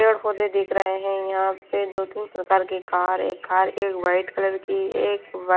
पौधे दिख रहे हैं यहाँ पे दो-तीन प्रकार की कार एक कार एक व्हाइट कलर की एक--